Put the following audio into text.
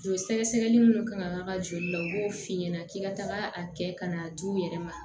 Joli sɛgɛsɛgɛli minnu kan ka k'a ka joli la u b'o f'i ɲɛna k'i ka taga a kɛ ka n'a di u yɛrɛ ma